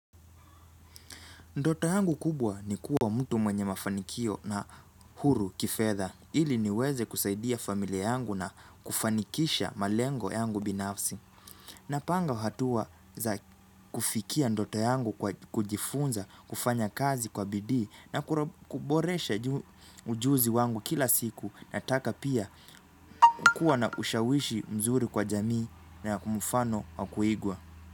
Ndoto yangu kubwa ni kuwa mtu mwenye mafanikio na huru kifedha ili niweze kusaidia familia yangu na kufanikisha malengo yangu binafsi. Napanga hatua za kufikia ndoto yangu kwa kujifunza, kufanya kazi kwa bidii na kuboresha ujuzi wangu kila siku na taka pia kukuwa na ushawishi mzuri kwa jamii na mfano wa kuigwa.